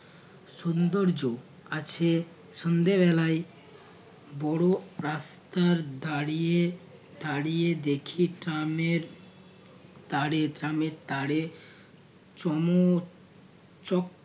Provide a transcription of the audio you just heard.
সুন্দর্য আছে সন্ধ্যাবেলায় বড় রাস্তার দাঁড়িয়ে দাঁড়িয়ে দেখি ট্রামের তারে ট্রামের তারে চমক চক